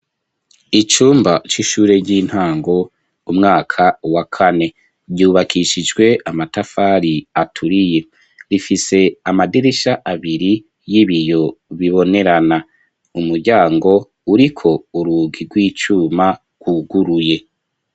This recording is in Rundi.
Icumba c'ishure ry'intango umwaka wa kane ryubakishijwe amatafari aturiye rifise amadirisha abiri y'ibiyo bibonerana umuryango uriko urugi rw'icuma rwuguruye.